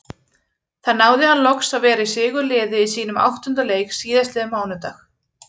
Þar náði hann loks að vera í sigurliði í sínum áttunda leik síðastliðinn mánudag.